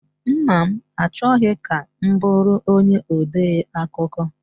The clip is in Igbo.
Nna m achọghị ka m bụrụ onye ode akụkọ.